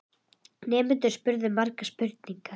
Nemendurnir spurðu margra spurninga.